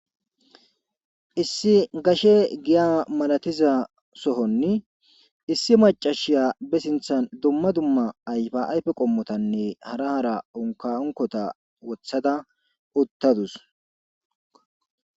issi gashe giya malatiza sohonni issi macashiya be sinthan dumma dumma ayfa ayfe qommotanne hara hara onka onkota wothada uttadus